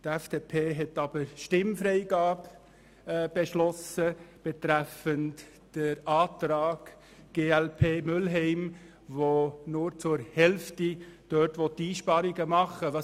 Die FDP hat aber Stimmfreigabe beschlossen betreffend den Antrag glp, der nur zur Hälfte Einsparungen vornehmen will.